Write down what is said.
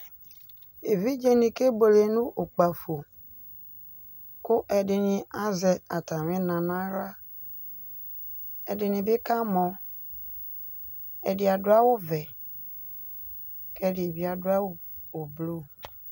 Evidze nɩ kebuele nʋ ʋkpǝfo Kʋ ɛdinɩ azɛ atamɩna nʋ aɣla Edɩnɩ bɩ kamɔ, ɛdɩ adʋ awʋvɛ kʋ ɛdɩ bɩ adʋ awʋ ʋblʋ